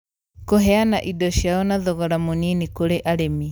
kũheana indo ciao na thogora mũnini kũrĩ arĩmi